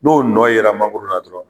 N'o nɔn yera mangoro la dɔrɔn